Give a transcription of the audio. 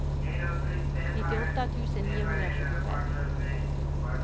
nittioåtta tusen niohundratjugofem